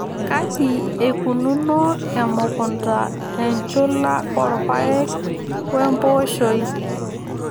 Kaji eikununo emukunta enchula orpaeki we mpooshoi.